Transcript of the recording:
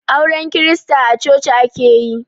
Auren krista a coci ake yi